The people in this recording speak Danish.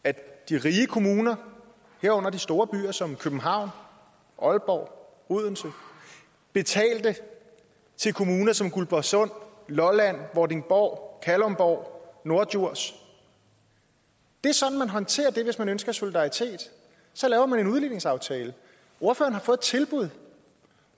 at de rige kommuner herunder de store byer som københavn aalborg odense betalte til kommuner som guldborgsund lolland vordingborg kalundborg og norddjurs det er sådan man håndterer det hvis man ønsker solidaritet så laver man en udligningsaftale ordføreren har fået et tilbud